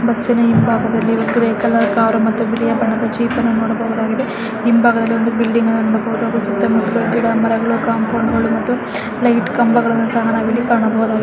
ಬಸ್ಸಿನ ಹಿಂಬಾಗದಲ್ಲಿ ಒಂದು ಗ್ರೇಯ್ ಕಲರ್ ಕಾರ್ ಮತ್ತು ಬಿಳಿಯ ಬಣ್ಣದ ಜೀಪನ್ನು ನಾವು ನೋಡಬಹುದಾಗಿದೆ ಹಿಂಬಾಗದಲ್ಲಿ ಒಂದು ಬಿಲ್ಡಿಂಗ್ ಅನ್ನ ನೋಡಬಹುದು ಹಾಗೆ ಸುತ್ತ ಮುತ್ತಲು ಗಿಡಮರಗಳು ಕಂಪೌಂಡ್ಗಳು ಮತ್ತು ಲೈಟ್ ಕಂಬಗಳನ್ನು ಸಹ ನಾವಿಲ್ಲಿ ಕಾಣಬಹುದಾಗಿದೆ --